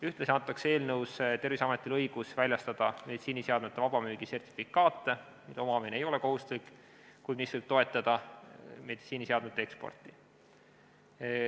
Ühtlasi antakse eelnõus Terviseametile õigus väljastada meditsiiniseadmete vabamüügi sertifikaate, mille omamine ei ole kohustuslik, kuid mis võivad toetada meditsiiniseadmete eksporti.